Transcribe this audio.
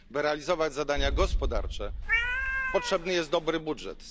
By realizować zadania gospodarcze, potrzebny jest dobry budżet.